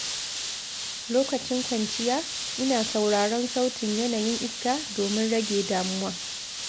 Lokacin kwanciya, ina sauraron sautin yanayin iska domin rage damuwa.